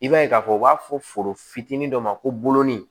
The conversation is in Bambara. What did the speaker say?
I b'a ye k'a fɔ u b'a fɔ foro fitiinin dɔ ma ko bolonin